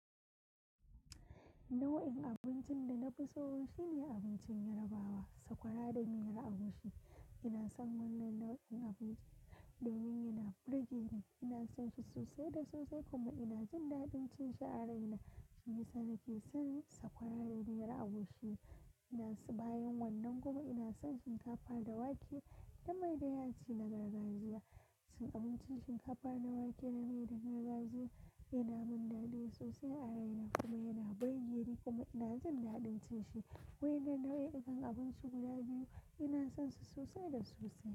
Nau'in abincin da na fi so shine abincin Yarabawa, sakwara da miyar agushi. Ina son wannan nau'in abinci domin yana burge ni, ina son shi sosai da sosai kuma ina jin daɗin cin shi a raina. Shisa nake san, sakwara da miyar agushi, yanzu bayan wannan kuma ina son shinkafa da wake, da mai da yaji na gargajiya. Abincin shinkafa da wake da mai na gargajiya, yana min daɗi sosai a raina. Kuma yana burge ni, kuma ina jin daɗin cin shi. Wa'innan nau'ikan abinci guda biyu, ina son su sosai da sosai.